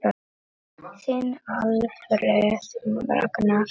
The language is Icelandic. Þinn Alfreð Ragnar.